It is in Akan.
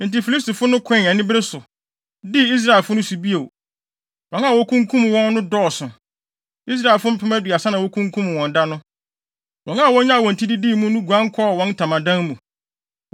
Enti Filistifo no koe anibere so, dii Israelfo no so bio. Wɔn a wokunkum wɔn no dɔɔso. Israelfo mpem aduasa na wokunkum wɔn da no. Wɔn a wonyaa wɔn ti didii mu no guan kɔɔ wɔn ntamadan mu.